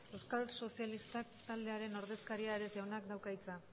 euskal sozialistak taldearen ordezkaria ares jaunak dauka hitza